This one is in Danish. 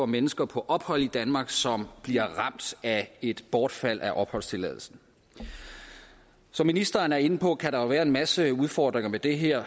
mennesker på ophold i danmark som bliver ramt af et bortfald af opholdstilladelsen som ministeren er inde på kan der være en masse udfordringer med det her